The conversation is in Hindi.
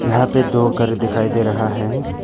यहां पे दो घर दिखाई दे रहा है।